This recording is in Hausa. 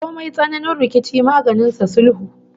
Komai tsananin rikici maganin sa sulhu